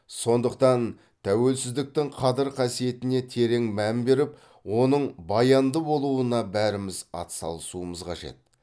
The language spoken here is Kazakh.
сондықтан тәуелсіздіктің қадір қасиетіне терең мән беріп оның баянды болуына бәріміз атсалысуымыз қажет